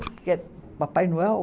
Porque é Papai Noel.